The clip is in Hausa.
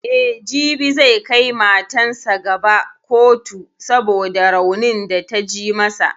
E, jibi zai kai matan sa gaba kotu saboda raunin da ta ji masa.